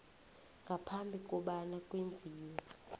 ngaphambi kobana kwenziwe